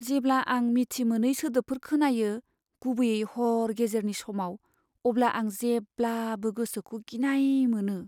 जेब्ला आं मिथि मोनै सोदोबफोर खोनायो, गुबैयै हर गेजेरनि समाव, अब्ला आं जेब्लाबो गोसोखौ गिनाय मोनो।